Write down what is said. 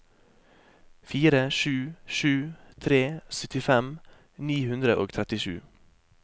fire sju sju tre syttifem ni hundre og trettisju